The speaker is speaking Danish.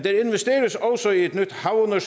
der